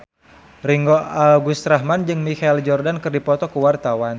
Ringgo Agus Rahman jeung Michael Jordan keur dipoto ku wartawan